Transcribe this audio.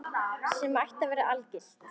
Sem ætti að vera algilt.